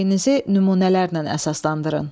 Mövqeyinizi nümunələrlə əsaslandırın.